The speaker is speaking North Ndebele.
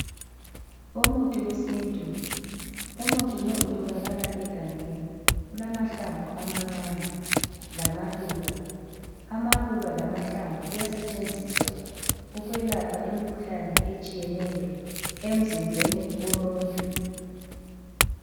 Umuthi wesintu, Umuthi lowu utholakala egangeni ulamahlamvu amancane lamaluba, amaluba lamahlamvu kuyasentshenziswa ukwelapha imikhuhlane etshiyeneyo emzimbeni womuntu.